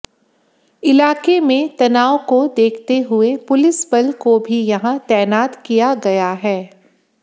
इलाके में तनाव को देखते हुए पुलिस बल को भी यहां तैनात किया गया है